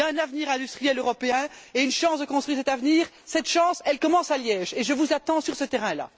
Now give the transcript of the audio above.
Il y a un avenir industriel européen et une chance de construire cet avenir. Cette chance, elle commence à Liège, et je vous attends sur ce terrain là.